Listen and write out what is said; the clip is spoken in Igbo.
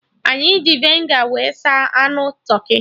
Anyị ji Vinegar wee saa anụ tụrkị